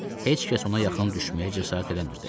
Heç kəs ona yaxın düşməyə cəsarət eləmirdi.